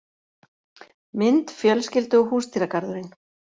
Mynd: Fjölskyldu og húsdýragarðurinn